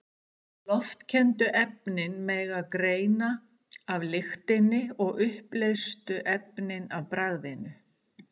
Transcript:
Loftkenndu efnin megi greina af lyktinni og uppleystu efnin af bragðinu.